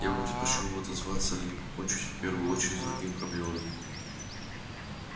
я бы предпочёл отозвался ли покончить в первую очередь с другими проблемами